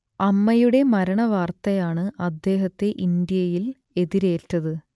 അമ്മയുടെ മരണവാർത്തയാണ് അദ്ദേഹത്തെ ഇന്ത്യയിൽ എതിരേറ്റത്